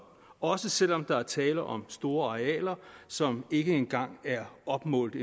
også selv om der er tale om store arealer som ikke engang er opmålt